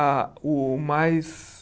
A o mais...